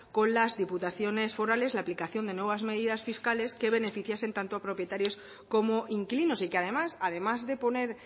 con las diputaciones forales la aplicación de nuevas medidas fiscales que beneficiasen tanto a propietarios como inquilinos y que además además de poner